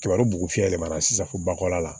Tiga don bugu fiyɛ ma na sisan fo bakɔ la